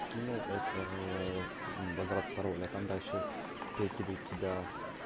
скинул это базар от пароля там дальше перекидывает тебя